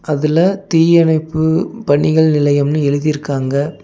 அதுல தீயணைப்பு பணிகள் நிலையம்னு எழுதிருக்காங்க.